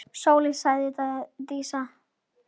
Sóley, sagði Dísa.